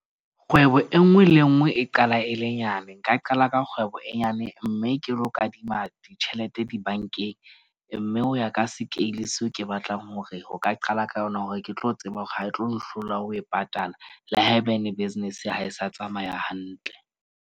Kgwebo e nngwe le e nngwe e qala e le nyane. Nka qala ka kgwebo e nyane mme ke lo kadima ditjhelete di-bank-eng. Mme ho ya ka scale seo ke batlang hore ho ka qala ka yona, hore ke tlo tseba hore ha e tlo nhlola ho e patala le haebane business ha e sa tsamaya hantle.